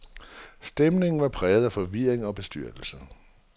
Stemningen var præget af forvirring og bestyrtelse.